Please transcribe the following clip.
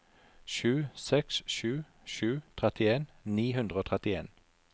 sju seks sju sju trettien ni hundre og trettien